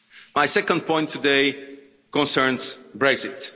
My second point today concerns Brexit.